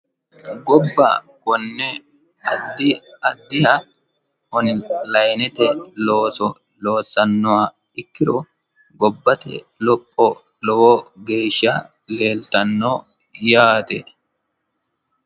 Gobba konne addi addiha onlinete looso loosannoha ikkiro gobbate lopho lowo geesha leelitanno yaate